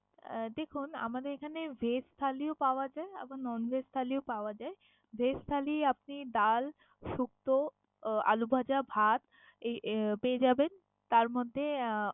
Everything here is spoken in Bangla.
আহ দেখুন আমাদের এখানে veg থালিও পাওয়া যায় আবার non veg থালিও পাওয়া যায়। Veg থালি আপনি ডাল, সুপথ্য, আহ আলু ভাঁজা, ভাত এই পেয়ে যাবেন। তার মধ্যে আহ